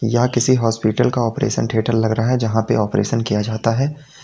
यह किसी हॉपिटल का ऑपरेशन थिएटर लग रहा है जहां पर ऑपरेशन किया जाता है।